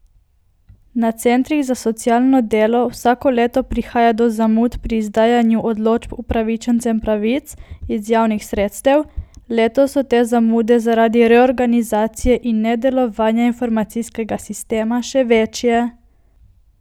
Na centrih za socialno delo vsako leto prihaja do zamud pri izdajanju odločb upravičencem pravic iz javnih sredstev, letos so te zamude zaradi reorganizacije in nedelovanja informacijskega sistema še večje.